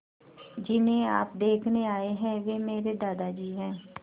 जिन्हें आप देखने आए हैं वे मेरे दादाजी हैं